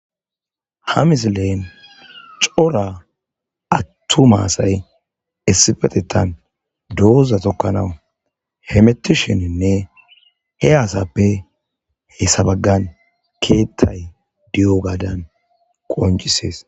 Ha mis leen cora attu maasay essifetetan dooza tokkanawu hemettisheninne he aasappe he sabaggan keettay de'iyo gaadan qonc'isees.